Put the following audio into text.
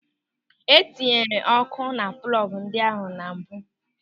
E tinyeghị ọ́kụ́ na plọgụ ndị ahụ na mbụ.